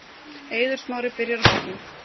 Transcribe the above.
Eiður Smári byrjar á bekknum